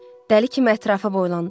Dəli kimi ətrafa boylandı.